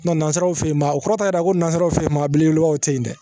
nanzaraw fɛ yen ma o kɔrɔ t'a yira ko nanzaraw fe ye maa belebelebaw tɛ yen dɛ